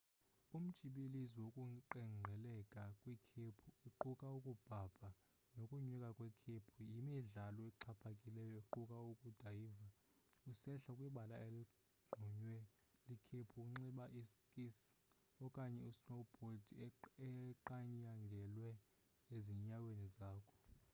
umtshibilizi wokuqengqeleka kwikhephu equka ukubhabha nokunyuka kwikhephu yimidlalo exhaphakileyo equka ukudayva usehla kwibala eligqunywe likhephu unxibe i skis okanye snowbhodi eqanyangelwe ezinyaweni zakho